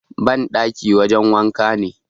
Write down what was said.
bandaki wajen wanka ne